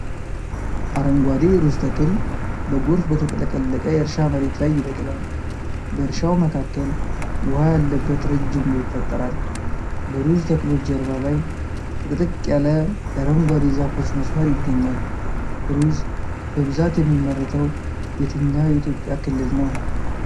አረንጓዴ የሩዝ ተክል በጎርፍ በተጥለቀለቀ የእርሻ መሬት ላይ ይበቅላል። በእርሻው መካከል ውሃ ያለበት ረጅም ቦይ ይፈጠራል። በሩዝ ተክሎች ጀርባ ላይ ጥቅጥቅ ያለ የአረንጓዴ ዛፎች መስመር ይገኛል። ሩዝ በብዛት የሚመረተው የትኛው የኢትዮጵያ ክልል ነው?